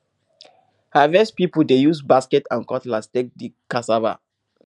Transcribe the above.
harvest people dey use basket and cutlass take dig cassava